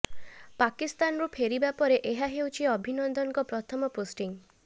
ପାକିସ୍ଥାନରୁ ଫେରିବା ପରେ ଏହା ହେଉଛି ଅଭିନନ୍ଦନଙ୍କ ପ୍ରଥମ ପୋଷ୍ଟିଙ୍ଗ୍